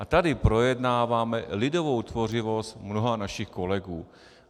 A tady projednáváme lidovou tvořivost mnoha našich kolegů.